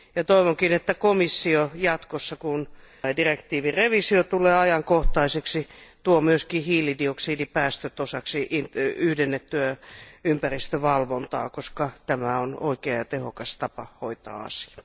Toivonkin, että komissio jatkossa, kun direktiivin tarkistaminen tulee ajankohtaiseksi, tuo myös hiilidioksidipäästöt osaksi yhdennettyä ympäristövalvontaa, koska tämä on oikea ja tehokas tapa hoitaa asia.